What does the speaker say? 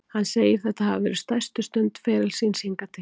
Hann segir þetta hafa verið stærstu stund ferils síns hingað til.